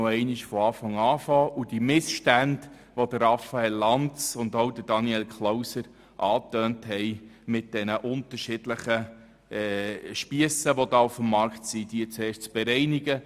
So können wir noch einmal von vorne beginnen und die Missstände mit den unterschiedlichen Spiessen auf dem Markt, welche die Grossräte Lanz und Klauser angetönt haben, zuerst bereinigen.